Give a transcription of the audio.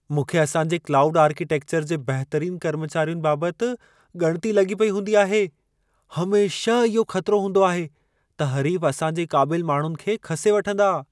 मूंखे असां जे क्लाउड आर्किटेक्चर जे बहितरीन कर्मचारियुनि बाबति ॻणिती लॻी पेई हूंदी आहे। हमेशह इहो ख़तरो हूंदो आहे त हरीफ़ असां जे क़ाबिल माण्हुनि खे खसे वठंदा।